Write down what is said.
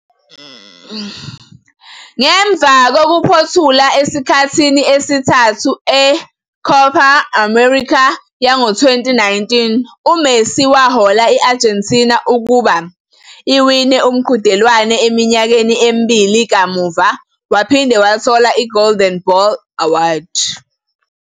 Ngemva kokuphothula esikhathini sesithathu e-Copa América yango-2019, uMessi wahola i-Argentina ukuba iwine umqhudelwano eminyakeni emibili kamuva, waphinde wathola i-Golden Ball award.